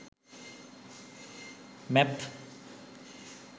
maps